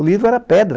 O livro era pedra.